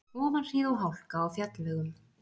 Ofanhríð og hálka á fjallvegum